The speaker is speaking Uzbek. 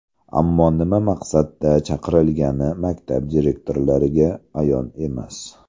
Ammo nima maqsadda chaqirilgani maktab direktorlariga ayon emas.